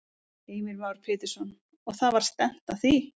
Heimir Már Pétursson: Og það var stefnt að því?